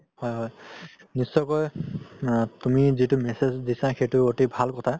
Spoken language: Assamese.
হয় হয় নিশ্চয়কৈ আ তুমি যিতো message দিছা সেইটো এতি ভাল কথা